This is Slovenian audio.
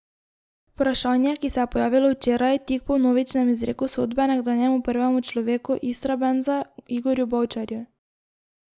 Vprašanje, ki se je pojavilo včeraj, tik po vnovičnem izreku sodbe nekdanjemu prvemu človeku Istrabenza Igorju Bavčarju.